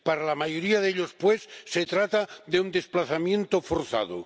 Para la mayoría de ellos, pues, se trata de un desplazamiento forzado.